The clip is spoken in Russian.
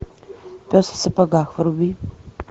пес в сапогах вруби